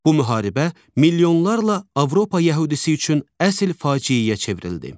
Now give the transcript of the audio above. Bu müharibə milyonlarla Avropa yəhudisi üçün əsl faciəyə çevrildi.